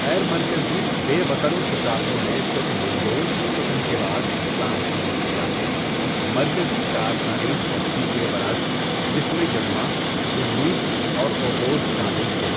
غیرمرکزی، بے وطن قپحاقوں نے صرف منگول کی فتح کے بعد اسلام قبول کیا، مرکزی کارخانید ہستی کے برعکس جس میں یگما، قرلوق اور اوغوز شامل تھے